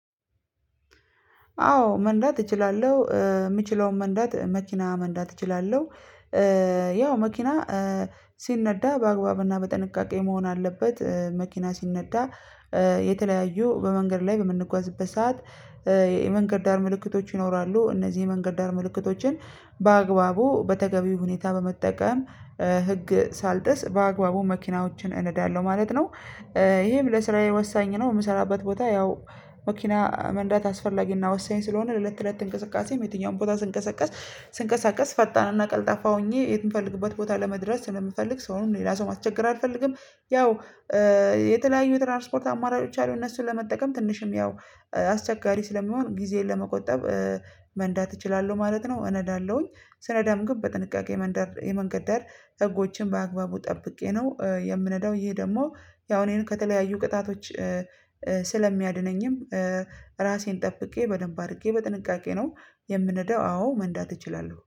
አዎ መንዳት እችላለሁ የምችለውን መንዳት መኪና መንዳት እችላለሁ። ያው መኪና ሲነዳ በአግባብና በጥንቃቄ መሆን አለበት መኪና ሲነዳ። የተለያዩ በመንገድ ላይ በምንጓዝበት ሰዓት የመንገድ ዳር ምልክቶች ይኖራሉ እነዚህ የመንገድ ዳር ምልክቶችን በአግባቡ በተገቢው ሁኔታ በመጠቀም ህግ ሳልጥስ በአግባቡ መኪናዎችን እንዳለው ማለት ነው። ይሄም ለስራዬ ወሳኝ ነው የምሰራበት ቦታ ያው መኪና መንዳት አስፈላጊና ወሳኝ ስለሆነ ለለት ተለት እንቅስቃሴም የትኛውም ቦታ ስንቀሳቀስ ስንቀሳቀስ ፈጣንና ቀልጣፋ ሆኜ የት የምፈልግበት ቦታ ለመድረስ ስለምፈልግ ሰውን ሌላ ሰው ማተቸገር አልፈልግም። ያው የተለያዩ ትራንስፖርት አማራጮች አሉ እነሱን ለመጠቀም ትንሽም ያው አስቸጋሪ ስለሚሆን ጊዜን ለመቆጠብ መንዳት እችላለሁ ማለት ነው። እነዳለሁኝ ስነዳም ግን በጥንቃቄ መንገድ የመንገድ ዳር ህጎችን በአግባቡ ጠብቄ ነው የምነዳው ይሄ ደግሞ ያው እኔን ከተለያዩ ቅጣቶች ስለሚያድነኝም ራሴን ጠብቄ በደንብ አድርጌ በጥንቃቄ ነው የምንደው አዎ መንዳት እችላለሁ